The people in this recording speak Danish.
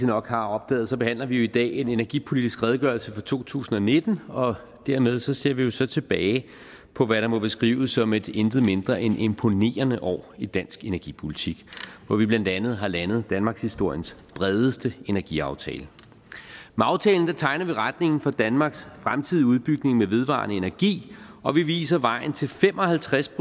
nok har opdaget behandler vi jo i dag en energipolitisk redegørelse for to tusind og nitten og dermed ser vi så tilbage på hvad der må beskrives som et intet mindre end imponerende år i dansk energipolitik hvor vi blandt andet har landet danmarkshistoriens bredeste energiaftale med aftalen tegner vi retningen for danmarks fremtidige udbygning med vedvarende energi og vi viser vejen til fem og halvtreds